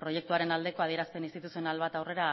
proiektuaren aldeko adierazpen instituzional bat aurrera